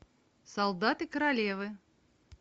солдаты королевы